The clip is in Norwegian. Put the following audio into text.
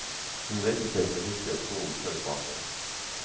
Hun reiste seg så hurtig at stolen føk bakover.